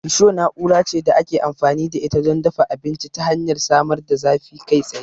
Risho na'ura ce da ake amfani da ita don dafa abinci ta hanyar samar da zafi kai tsaye.